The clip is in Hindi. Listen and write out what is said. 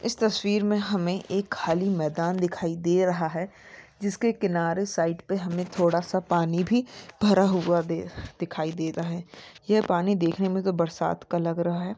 इस तस्वीर में हमें एक खली मैदान दिखाई दे रहा है जिस के किनारे साइट पे हमें थोडा सा पानी भी भरा हुआ दे-दिखाई दे रहा है ये पानी देख ने में तोह बरसात का लग रहा है।